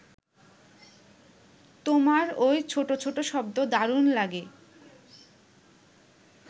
তোমার ওই ছোট ছোট শব্দ দারুণ লাগে